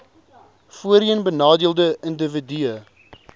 voorheen benadeelde indiwidue